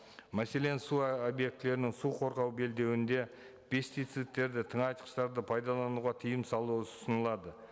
мәселен су ы объектілерінің су қорғау белдеуінде пестицидтерді тыңайтқыштарды пайдалануға тыйым салу ұсынылады